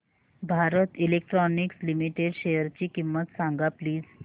Bharat Electronics Limited शेअरची किंमत सांगा प्लीज